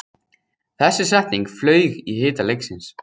Þessi setning flaug í hita leiksins